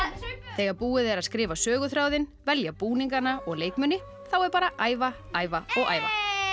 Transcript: þegar búið er að skrifa söguþráðinn velja búningana og leikmuni þá er bara að æfa æfa og æfa